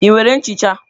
Ị nwere nchicha?